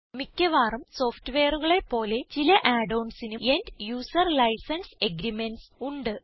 മിക്കവാറും സോഫ്റ്റ്വെയറുകളെ പോലെ ചില add onsനും end യൂസർ ലൈസൻസ് അഗ്രീമെന്റ്സ് ഉണ്ട്